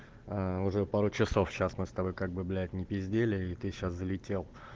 уже пару часов сейчас мы с тобой как бы блять не пиздели и ты сейчас залетел